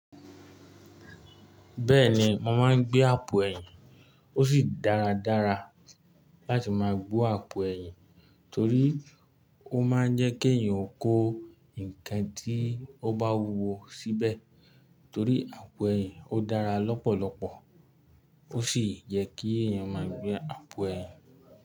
Bẹ́ẹ̀ni, mo máa ń gbé àpò ẹ̀yìn, ó sì dáradára láti máa gbó àpò ẹ̀yìn torí ó máa ń jẹ́ kí èèyàn kó nǹkan tí ó bá wuwo síbẹ̀ torí àpò ẹ̀yìn ó dára lọ́pọ̀lọpọ̀ ó sì yẹ kí èèyàn máa gbé àpò ẹ̀yìn.